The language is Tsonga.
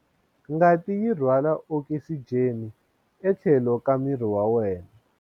Ngati yi rhwala okisijeni etlhelo ka miri wa wena.